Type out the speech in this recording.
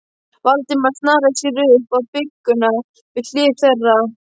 Valdimar snaraði sér upp á bryggjuna við hlið þeirra.